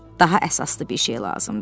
Daha əsaslı bir şey lazımdır.